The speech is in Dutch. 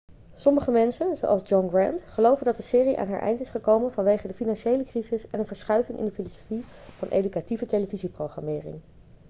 sommige mensen zoals john grant geloven dat de serie aan haar eind is gekomen vanwege de financiële crisis en een verschuiving in de filosofie van educatieve televisieprogrammering